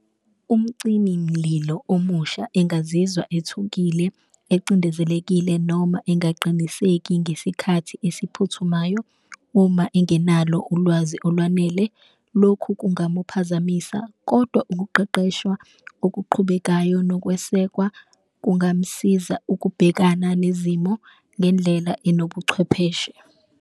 Umcimi mlilo omusha engazizwa ethukile, ecindezelekile noma engaqiniseki ngesikhathi esiphuthumayo uma engenalo ulwazi olwanele, lokhu kungamuphazamisa. Kodwa ukuqeqeshwa okuqhubekayo nokwesekwa kungamsiza ukubhekana nezimo ngendlela enobuchwepheshe.